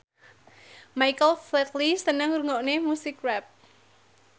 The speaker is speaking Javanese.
Michael Flatley seneng ngrungokne musik rap